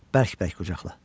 Bərk-bərk qucaqla.